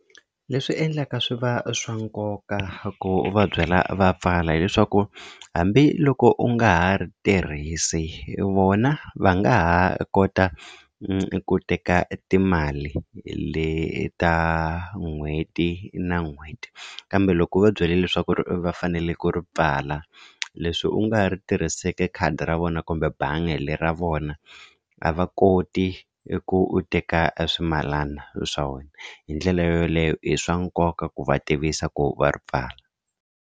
Leswi endlaka swi va swa nkoka ku u va byela va pfala hileswaku hambiloko u nga ha ri tirhisi vona va nga ha kota ku teka timali leta n'hweti na n'hweti kambe loko u va byela leswaku ri va faneleke ri pfala leswi u nga ri tirhiseke khadi ra vona kumbe bangi le ra vona a va koti i ku u teka a swimalana swa wena hi ndlela yoleyo i swa nkoka ku va tivisa ku va ri pfala.